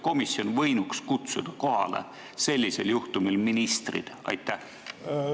Komisjon võinuks sellisel juhtumil ministrid kohale kutsuda.